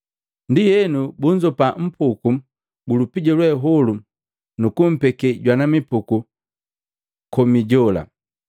Ndienu munnzopa mipuku ju lupija lwe holu mukumpekia jwana mipuku ju lupija komi jela.